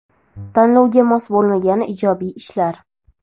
Tanlovga mos bo‘lmagan ijodiy ishlar.